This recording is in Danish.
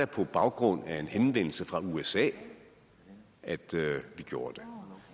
på baggrund af en henvendelse fra usa at vi gjorde det